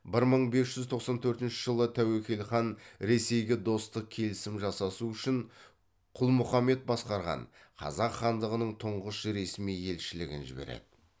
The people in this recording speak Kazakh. бір мың бес жүз тоқсан төртінші жылы тәуекел хан ресейге достық келісім жасасу үшін құлмұхаммед басқарған қазақ хандығының тұңғыш ресми елшілігін жібереді